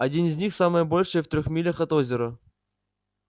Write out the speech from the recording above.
один из них самое большее в трёх милях от озера